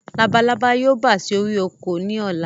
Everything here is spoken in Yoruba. Labalábá yóò bà sí orí oko ni ọ̀la